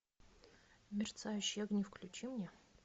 мерцающие огни включи мне